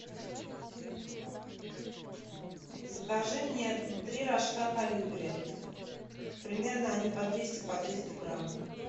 закажи мне три рожка колибри примерно они по двести по триста грамм